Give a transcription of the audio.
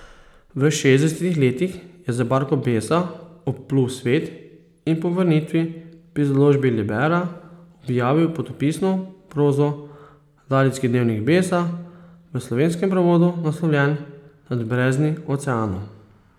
V šestdesetih letih je z barko Besa obplul svet in po vrnitvi pri založbi Libera objavil potopisno prozo, ladijski dnevnik Besa, v slovenskem prevodu naslovljen Nad brezni oceanov.